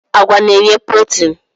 Agwa na-enye protin.